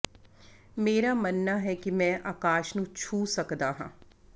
ਮੇਰਾ ਮੰਨਣਾ ਹੈ ਕਿ ਮੈਂ ਆਕਾਸ਼ ਨੂੰ ਛੂਹ ਸਕਦਾ ਹਾਂ